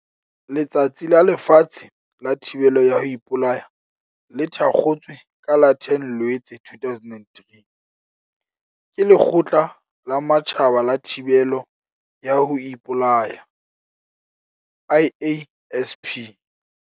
Letsatsi la Lefatshe la Thibelo ya ho Ipolaya le thakgotswe ka la 10 Loetse 2003, ke Lekgotla la Matjhaba la Thibelo ya ho Ipolaya, IASP.